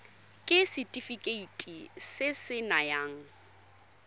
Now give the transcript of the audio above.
ke setefikeiti se se nayang